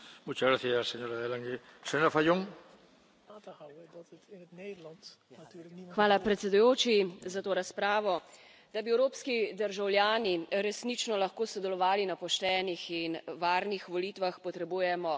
Gospod predsednik! Da bi evropski državljani resnično lahko sodelovali na poštenih in varnih volitvah, potrebujemo pošteno in varno informiranje, poštene politike in pa izobražene državljane.